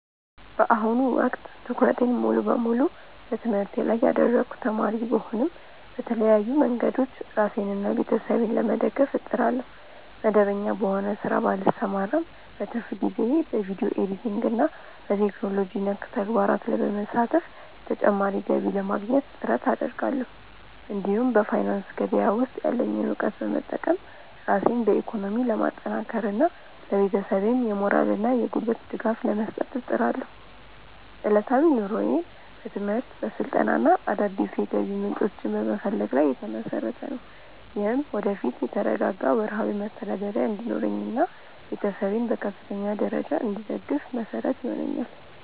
በአሁኑ ወቅት ትኩረቴን ሙሉ በሙሉ በትምህርቴ ላይ ያደረግኩ ተማሪ ብሆንም፣ በተለያዩ መንገዶች ራሴንና ቤተሰቤን ለመደገፍ እጥራለሁ። መደበኛ በሆነ ሥራ ባልሰማራም፣ በትርፍ ጊዜዬ በቪዲዮ ኤዲቲንግና በቴክኖሎጂ ነክ ተግባራት ላይ በመሳተፍ ተጨማሪ ገቢ ለማግኘት ጥረት አደርጋለሁ። እንዲሁም በፋይናንስ ገበያ ውስጥ ያለኝን እውቀት በመጠቀም ራሴን በኢኮኖሚ ለማጠናከርና ለቤተሰቤም የሞራልና የጉልበት ድጋፍ ለመስጠት እጥራለሁ። ዕለታዊ ኑሮዬም በትምህርት፣ በስልጠናና አዳዲስ የገቢ ምንጮችን በመፈለግ ላይ የተመሰረተ ነው። ይህም ወደፊት የተረጋጋ ወርሃዊ መተዳደሪያ እንዲኖረኝና ቤተሰቤን በከፍተኛ ደረጃ እንድደግፍ መሰረት ይሆነኛል።